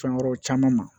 Fɛn wɛrɛw caman ma